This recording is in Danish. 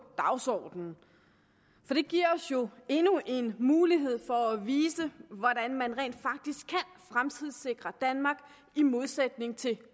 dagsordenen for det giver os jo endnu en mulighed for at vise hvordan man rent faktisk kan fremtidssikre danmark i modsætning til